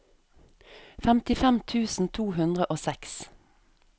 femtifem tusen to hundre og seks